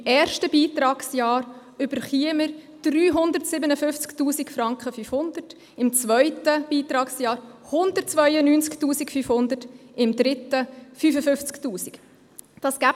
Im ersten Beitragsjahr erhielte der Kanton 357 500 Franken, im zweiten Beitragsjahr 192 500 Franken und im dritten 55 000 Franken.